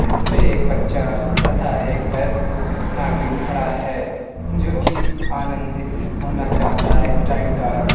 इसपे एक बच्चा तथा एक वयस्क नागरिक खड़ा है जो कि आनंदित होना चाहता है इन राइड द्वारा।